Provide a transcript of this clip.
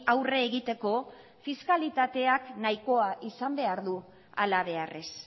aurre egiteko fiskalitateak nahikoa izan behar du halabeharrez